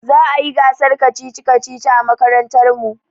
Za a yi gasar kacici-kacici a makarantar mu.